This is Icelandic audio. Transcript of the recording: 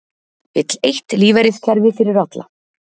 Vill eitt lífeyriskerfi fyrir alla